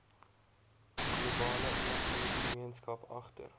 globale inligtinggemeenskap agter